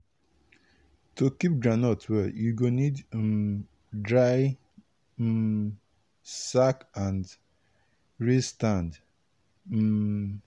to keep groundnut well u go need um dry um sack and raise stand. um